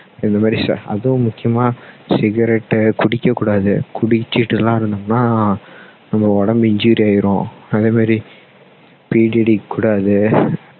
இந்த மாதிரி அதுவும் முக்கியமா cigarette புடிக்க கூடாது குடிச்சிட்டு எல்லாம் இருந்தோம்னா நம்ம உடம்பு injury ஆயிரும் அதே மாதிரி பீடி அடிக்க கூடாது